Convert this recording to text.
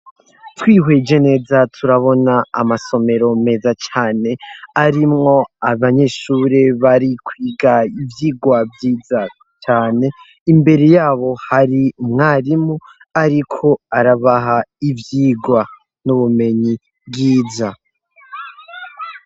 Twihweje neza turabona amasomero meza cane arimwo abanyeshure bari kwiga ivyigwa vyiza cane imbere yabo hari umwarimu ariko arabaha ivyigwa n'ubumenyi bwiza.